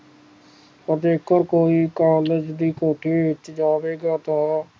ਬਿਲਕੁਲ ਕੋਈ ਕਾਲੇਜ ਦੀ ਕੋਠੀ ਵਿਚ ਜਾਵੇਗਾ ਤਾਂ